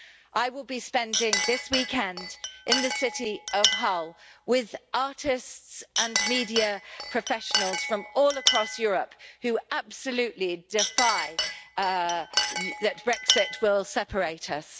I will be spending this weekend in the city of Hull with artists and media professionals from all across Europe who absolutely defy that Brexit will separate us.